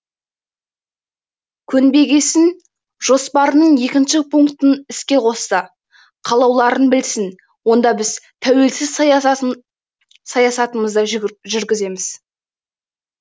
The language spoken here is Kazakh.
көнбегесін жоспарының екінші пунктін іске қосты қалауларың білсін онда біз тәуелсіз саясатымызды жүргіземіз